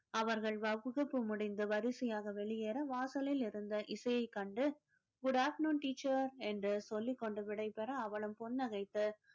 அவர்கள் வகுப்பு முடிந்து வரிசையாக வெளியேற வாசலில் இருந்த இசையைக் கண்டு good afternoon teacher என்று சொல்லிக் கொண்டு விடைபெற அவளும் புன்னகைத்து